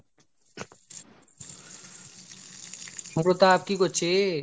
হ্যাঁ প্রতাপ কি করছিস ?